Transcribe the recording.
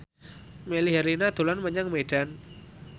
Melly Herlina dolan menyang Medan